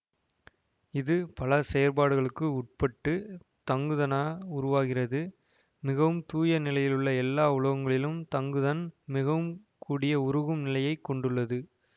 இது பல செயற்பாடுகளுக்கு உட்பட்டு தங்குதனாக உருவாகிறது மிகவும் தூய நிலையிலுள்ள எல்லா உலோகங்களிலும் தங்குதன் மிகவும் கூடிய உருகும் நிலையை கொண்டுள்ளது